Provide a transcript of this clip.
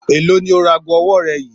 Èló ni o ra aago ọwọ́ rẹ yìí?